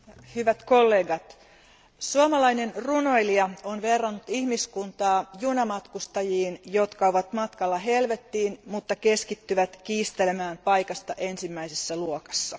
Arvoisa puhemies, hyvät kollegat, suomalainen runoilija on verrannut ihmiskuntaa junamatkustajiin, jotka ovat matkalla helvettiin, mutta keskittyvät kiistelemään paikasta ensimmäisessä luokassa.